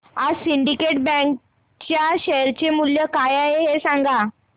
आज Syndicate Bank च्या share चे मूल्य काय आहे हे सांगा